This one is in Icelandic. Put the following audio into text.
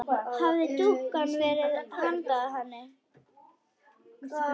Hafði dúkkan verið handa henni?